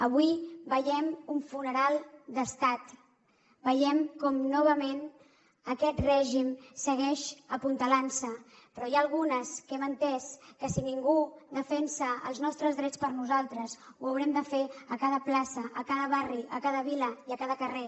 avui veiem un funeral d’estat veiem com novament aquest règim segueix apuntalant se però n’hi ha algunes que hem entès que si ningú defensa els nostres drets per nosaltres ho haurem de fer a cada plaça a cada barri a cada vila i a cada carrer